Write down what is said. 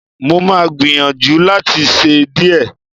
Mo máa gbìyànjú láti ṣe díẹ̀